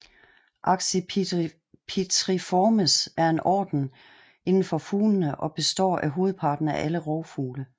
Accipitriformes er en orden inden for fuglene og består af hovedparten af alle rovfugle